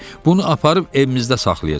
Bunu aparıb evimizdə saxlayacam.